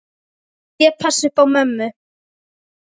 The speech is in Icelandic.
Ég passa upp á mömmu.